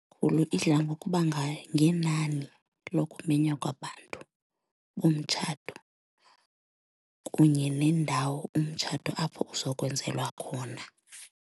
idla ngokuba ngenani lokumenywa kwabantu bomtshato kunye nendawo umtshato apho uzokwenzelwa khona.